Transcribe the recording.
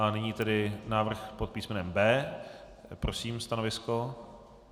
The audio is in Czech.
A nyní tedy návrh pod písmenem B. Prosím stanovisko.